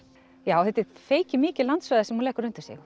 já þetta er feiki mikið landsvæði sem hún leggur undir sig